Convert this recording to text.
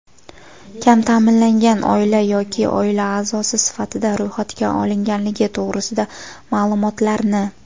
kam taʼminlangan oila yoki oila aʼzosi sifatida ro‘yxatga olinganligi to‘g‘risida maʼlumotlarni;.